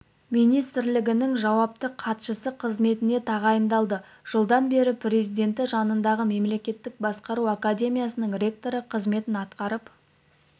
министрлігінің жауапты хатшысы қызметіне тағайындалды жылдан бері президенті жанындағы мемлекеттік басқару академиясының ректоры қызметін атқарып